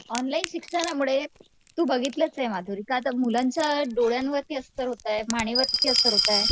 Online शिक्षणामुळे तू बघितलंच ये माधुरी का तर मुलांच्या डोळ्यावरती असर होतंय. मानेवरती असर होतंय.